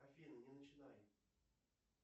афина не начинай